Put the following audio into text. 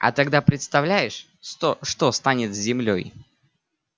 а тогда представляешь что станет с землёй